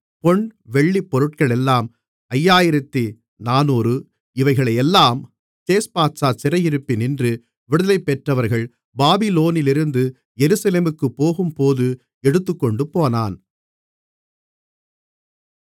பொன் வெள்ளிப் பொருட்களெல்லாம் 5400 இவைகளையெல்லாம் சேஸ்பாத்சார் சிறையிருப்பினின்று விடுதலைபெற்றவர்கள் பாபிலோனிலிருந்து எருசலேமுக்குப் போகும்போது எடுத்துக் கொண்டுபோனான்